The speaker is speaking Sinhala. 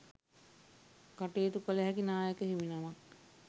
කටයුතු කළහැකි නායක හිමි නමක්.